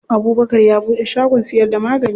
Abubkar ya buɗe shagon siyar da magani.